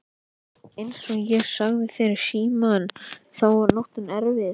Einsog ég sagði þér í símann þá var nóttin erfið.